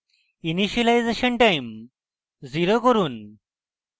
initialisation time 0 করুন